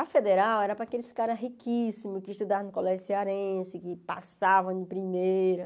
A Federal era para aqueles caras riquíssimos que estudavam no colégio cearense, que passavam em primeira.